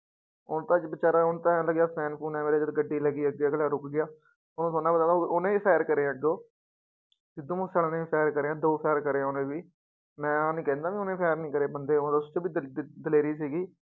ਉਹਨੂੰ ਤਾਂ ਬੇਚਾਰਾ ਉਹਨੂੰ ਤਾਂ ਇਉਂ ਲੱਗਿਆ fan ਫੂਨ ਗੱਡੀ ਲੱਗੀ ਅੱਗੇ ਅਗਲਾ ਰੁੱਕ ਗਿਆ ਉਹਨੂੰ ਥੋੜ੍ਹਾ ਨਾ ਪਤਾ ਉਹਨੇ ਵੀ fire ਕਰੇ ਅੱਗੋਂ ਸਿੱਧੂ ਮੂਸੇਵਾਲੇ ਨੇ ਵੀ fire ਕਰੇ ਹੈ ਦੋ fire ਕਰੇ ਆ ਉਹਨੇ ਵੀ ਮੈਂ ਆਹ ਨੀ ਕਹਿੰਦਾ ਕਿ ਉਹਨੇ fire ਨੀ ਕਰੇ ਬੰਦੇ ਉਸ ਚ ਵੀ ਦ ਦਲੇਰੀ ਸੀਗੀ